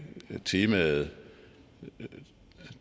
temaet